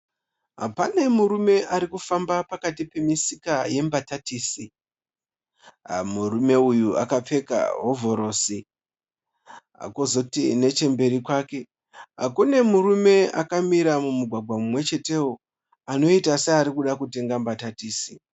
Pane murume arikufamba pakati pemisika yembatatisi . Murume uyu akapfeka hovhorosi. Kozoti nechemberi kwake kune murume akamira mumugwagwa mumwechetewo anoita seari kuda kutenga mbatatisi.